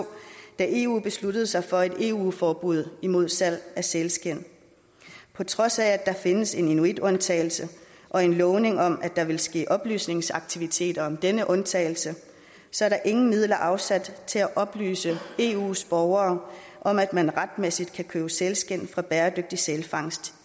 da eu besluttede sig for et eu forbud mod salg af sælskind på trods af at der findes en inuitundtagelse og en lovning om at der ville ske oplysningsaktiviteter om denne undtagelse så er der ingen midler afsat til at oplyse eus borgere om at man retmæssigt kan købe sælskind fra bæredygtig sælfangst